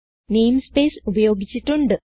namespace ഉപയോഗിച്ചിട്ടുണ്ട്